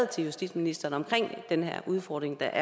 til justitsministeren om den udfordring der